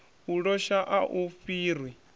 u losha a u fhiri